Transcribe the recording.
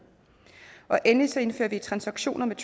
endelig indfører vi at transaktioner med